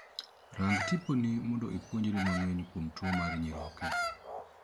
Rang tiponi mondo ipuonjri mang'eny kuom tuo mar nyiroke.